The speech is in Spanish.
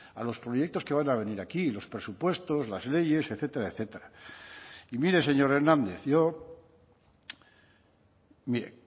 a los proyectos que van a venir aquí los presupuestos las leyes etcétera etcétera y mire señor hernández yo mire